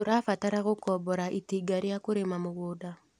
Tũrabatara gũkombora itinga rĩa kũrĩma mũgũnda.